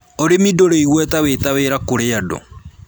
Ūrĩmi ndũrĩ igweta wĩ ta wĩra kũrĩ andũ